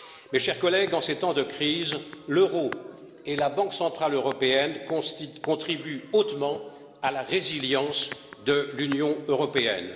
Mes chers collègues, en ces temps de crise, l'euro et la Banque centrale européenne contribuent hautement à la résilience de l'Union européenne.